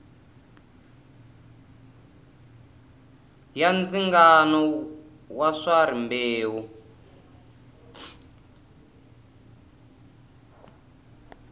ya ndzingano wa swa rimbewu